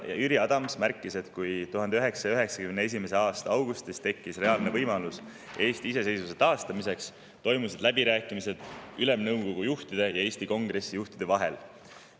Jüri Adams märkis, et kui 1991. aasta augustis tekkis reaalne võimalus Eesti iseseisvuse taastamiseks, siis toimusid läbirääkimised Ülemnõukogu juhtide ja Eesti Kongressi juhtide vahel.